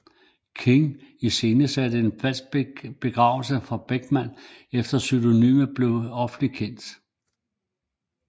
King iscenesatte en falsk begravelse for Bachman efter at pseudonymet blev offentligt kendt